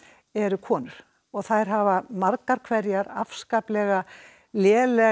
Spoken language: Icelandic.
eru konur þær hafa margar hverjar afskaplega lélegan